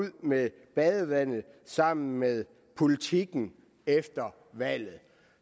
med badevandet sammen med politikken efter valget